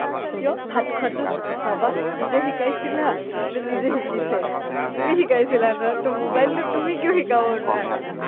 কিয় ভাত খোৱাটোত ভাবা নিজে শিকাইছিলা নে নিজে শিকিছে ? তুমি শিকাইছিলা ন টো mobile টো তুমি কিয় শিকাব নোৱাৰা